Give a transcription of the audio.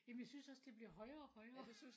Jamen jeg synes også det bliver højere og højere